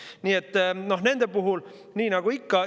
Nii et nende puhul on nii nagu ikka.